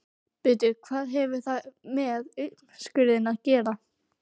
Bíddu hvað hefur það með uppskurðinn að gera?